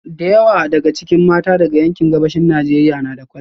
Da yawa daga cikin mata daga yankin Gabashin Najeriya na da kwalliya